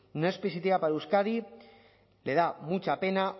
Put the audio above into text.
no es positiva para euskadi me da mucha pena